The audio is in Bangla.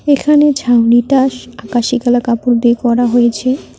এখানে ছাউনিটা আকাশি কালার কাপড় দিয়ে করা হয়েছে।